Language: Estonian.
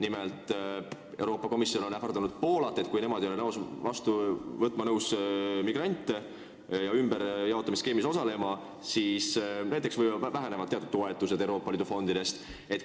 Nimelt, Euroopa Komisjon on ähvardanud Poolat, et kui Poola ei ole nõus vastu võtma migrante ja ümberjaotamisskeemis osalema, siis võivad teatud toetused Euroopa Liidu fondidest väheneda.